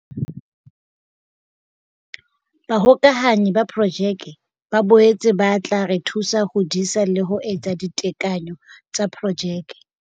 Bahokahanyi ba Projeke ba boetse ba tla re thusa ho disa le ho etsa ditekanyo tsa projeke.